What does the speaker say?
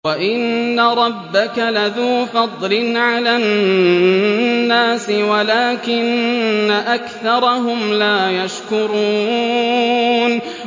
وَإِنَّ رَبَّكَ لَذُو فَضْلٍ عَلَى النَّاسِ وَلَٰكِنَّ أَكْثَرَهُمْ لَا يَشْكُرُونَ